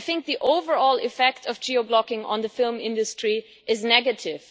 I think the overall effect of geo blocking on the film industry is negative.